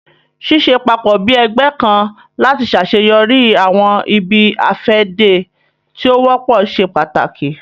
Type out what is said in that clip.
Ṣiṣẹ papọ bi ẹgbẹ kan lati ṣaṣeyọri awọn ibi-afẹde ti o wọpọ ṣe pàtàkì